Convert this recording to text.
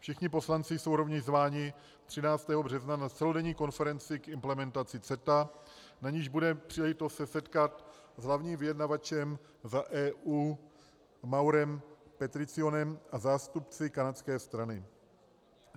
Všichni poslanci jsou rovněž zváni 13. března na celodenní konferenci k implementaci CETA, na níž bude příležitost se setkat s hlavním vyjednavačem v EU Maurem Petriccionem a zástupci kanadské strany.